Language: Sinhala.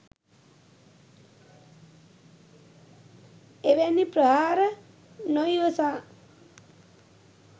එවැනි ප්‍රහාර නොඉවසා